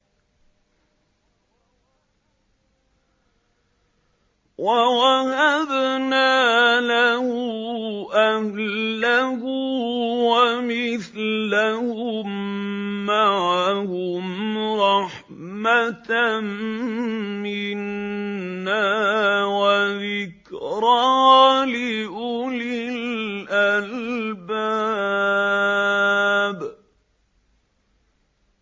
وَوَهَبْنَا لَهُ أَهْلَهُ وَمِثْلَهُم مَّعَهُمْ رَحْمَةً مِّنَّا وَذِكْرَىٰ لِأُولِي الْأَلْبَابِ